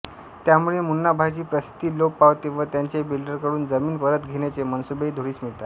त्यामुळे मुन्नाभाईची प्रसिद्दी लोप पावते व त्याचे बिल्डरकडून जमीन परत घेण्याचे मनसुबेही धुळीस मिळतात